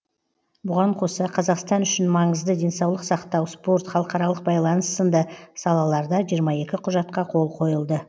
бұған қоса қазақстан үшін маңызды денсаулық сақтау спорт халықаралық байланыс сынды салаларда жиырма екі құжатқа қол қойылды